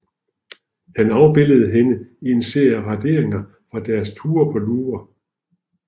Han afbildede hende i en serie raderinger fra deres ture på Louvre